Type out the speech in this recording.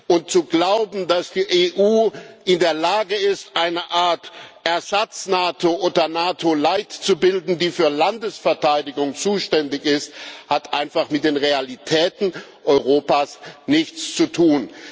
Und zu glauben, dass die EU in der Lage wäre, eine Art Ersatz NATO oder NATO light zu bilden, die für Landesverteidigung zuständig ist, hat einfach mit den Realitäten Europas nichts zu tun.